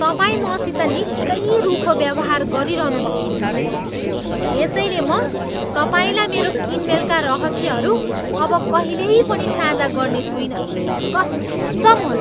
तपाईँ मसित निकै रूखो व्यवहार गरिरहनु भएको छ यसैले म तपाईँलाई मेरो किनमेलका रहस्यहरू अब कहिल्यै पनि साझा गर्ने छुइन, कस्सम होला।